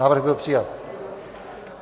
Návrh byl přijat.